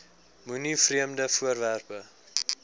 moenie vreemde voorwerpe